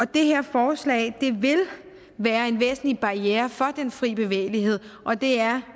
det her forslag vil være en væsentlig barriere for den fri bevægelighed og det er